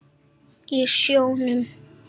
Og sjónum.